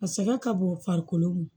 A sɛgɛn ka bon farikolo